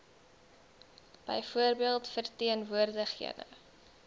byvoorbeeld verteen woordigende